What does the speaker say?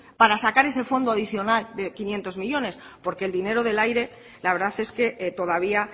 para sacar ese fondo adicional de quinientos millónes porque el dinero del aire la verdad es que todavía